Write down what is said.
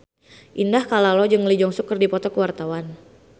Indah Kalalo jeung Lee Jeong Suk keur dipoto ku wartawan